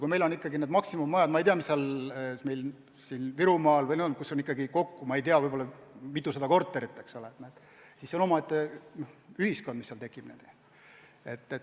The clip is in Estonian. Kui meil on ikkagi maksimummajad, kus on kokku, ma ei tea, mitusada korterit, siis see on omaette ühiskond, mis seal tekib.